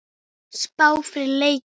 Spá fyrir leikinn?